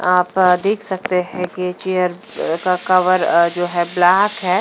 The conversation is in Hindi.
आप यहां देख सकते हैं कि चेयर का कवर जो है ब्लैक है।